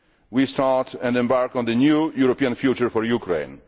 We start and embark on the new European future for Ukraine.